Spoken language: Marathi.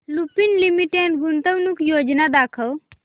लुपिन लिमिटेड गुंतवणूक योजना दाखव